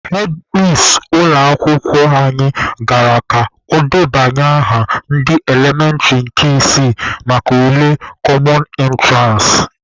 Hedmis ụlọ akwụkwọ anyị gara ka o debanye aha ndị elementịrị nke isii maka ule kọmọn ịntụransị.